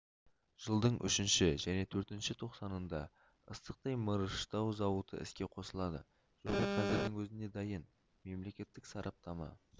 жылдың үшінші және төртінші тоқсанында ыстықтай мырыштау зауыты іске қосылады жоба қазірдің өзінде дайын мемлекеттік сараптама